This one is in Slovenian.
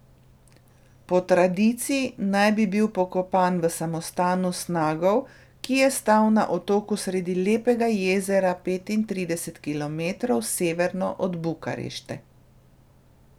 Po tradiciji naj bi bil pokopan v samostanu Snagov, ki je stal na otoku sredi lepega jezera petintrideset kilometrov severno od Bukarešte.